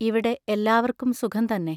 ഇവിടെ എല്ലാവർക്കും സുഖം തന്നെ.